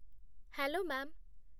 Hello, ma'am.